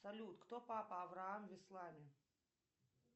салют кто папа авраам в исламе